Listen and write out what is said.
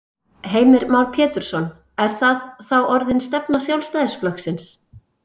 Heimir Már Pétursson: Er það þá orðin stefna Sjálfstæðisflokksins?